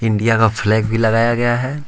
India का flag भी लगाया गया है।